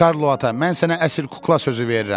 Karlo ata, mən sənə əsil kukla sözü verirəm.